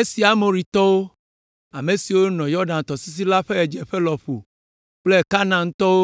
Esi Amoritɔwo, ame siwo nɔ Yɔdan tɔsisi la ƒe ɣedzeƒe lɔƒo kple Kanaantɔwo,